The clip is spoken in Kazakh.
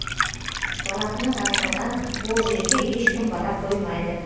жалақының аздығынан ол жерге ешкім бара қоймайды